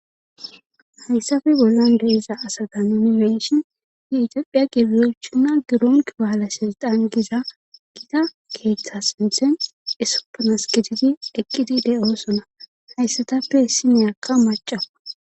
Hayssappe bollan diza asata nuuni be'ishin yetophiya gebewochinna gebewochi balesiltan yagiza gita keeththa sinthen issippe gididi eqizi de'osona. Hayssatape issiniyakka maccakko.